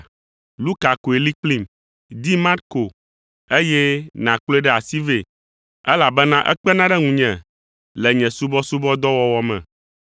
Luka koe li kplim. Di Marko, eye nàkplɔe ɖe asi vɛ, elabena ekpena ɖe ŋunye le nye subɔsubɔdɔwɔwɔ me.